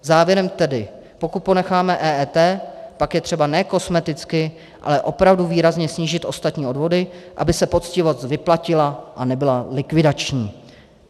Závěrem tedy: Pokud ponecháme EET, pak je třeba ne kosmeticky, ale opravdu výrazně snížit ostatní odvody, aby se poctivost vyplatila a nebyla likvidační.